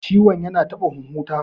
Ciwon ya taɓa huhun ta